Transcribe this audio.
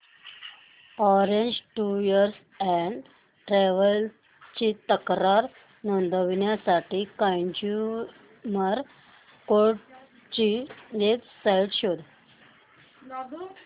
orange Tours and Travels ची तक्रार नोंदवण्यासाठी कंझ्युमर कोर्ट ची वेब साइट शोध